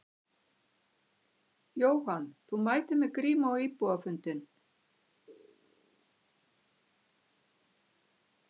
Jóhann: Þú mætir með grímu á íbúafundinn?